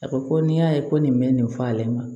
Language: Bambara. A ko ko n'i y'a ye ko nin bɛ nin fɔ ale ma